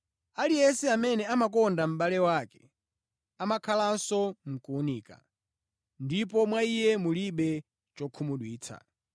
Aliyense amene amakonda mʼbale wake amakhalanso mʼkuwunika, ndipo mwa iye mulibe chokhumudwitsa.